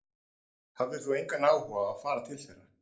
Hafðir þú engan áhuga á að fara til þeirra?